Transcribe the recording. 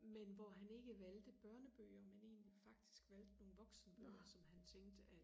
men hvor han ikke valgte børnebøger men egentlig faktisk valgte nogle voksen bøger som han tænkte at